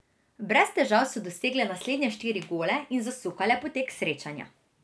Brez težav so dosegle naslednje štiri gole in zasukale potek srečanja.